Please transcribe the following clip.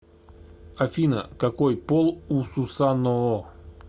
афина какой пол у сусаноо